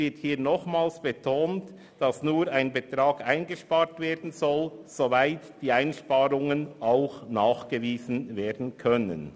Hier wird nochmals betont, dass nur derjenige Betrag eingespart werden soll, der nachgewiesen werden kann.